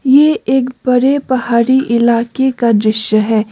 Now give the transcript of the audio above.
ये एक बड़े पहाड़ी इलाके का दृश्य है।